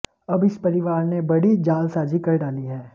अब इस परिवार ने बड़ी जालसाजी कर डाली है